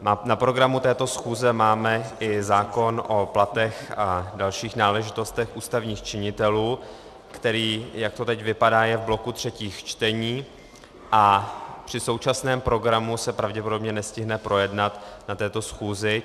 Na programu této schůze máme i zákon o platech a dalších náležitostech ústavních činitelů, který, jak to teď vypadá, je v bloku třetích čtení a při současném programu se pravděpodobně nestihne projednat na této schůzi.